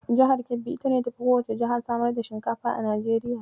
Jihar Kebbi ita ce ta fi kowacce jiha samar da shinkafa a Najeriya.